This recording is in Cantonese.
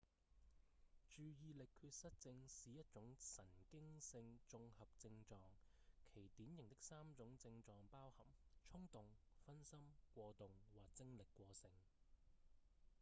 注意力缺失症「是一種神經性綜合症狀其典型的三種症狀包含衝動、分心、過動或精力過剩」